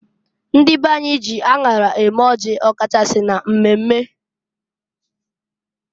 Ndị be anyị ji aṅara eme ọjị, ọ kachasị na mmemme.